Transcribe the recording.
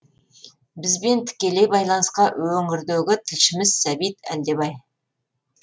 бізбен тікелей байланысқа өңірдегі тілшіміз сәбит әлдебай